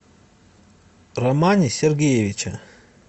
романе сергеевиче